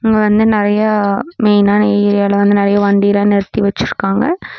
இங்க வந்து நெறையா மெயினான ஏரியால வந்து நெறைய வண்டிலா நிறுத்தி வச்சுருக்காங்க.